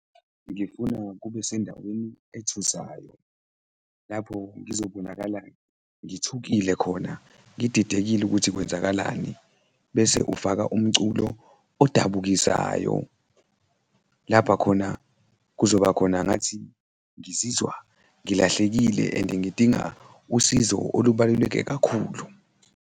Ngifuna kube sendaweni ethusayo, lapho ngizobonakala ngithukile khona, ngididekile ukuthi kwenzakalani bese ufaka umculo odabukisayo, lapha khona kuzoba khona ngathi ngizizwa ngilahlekile and-e ngidinga usizo olubaluleke kakhulu.